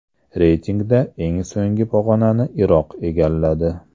Reytingda eng so‘nggi pog‘onani Iroq egalladi.